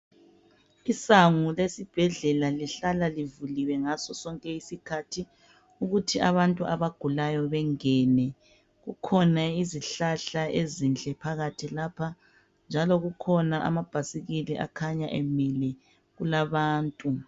Isango lesibhedlela lihlala livuliwe ngaso sonke isikhathi ukuthi abantu abagulayo bengene . Kukhona izihlahla ezinhle phakathi lapha njalo kukhona amabhasikili akhanya emile njalo kulabantu.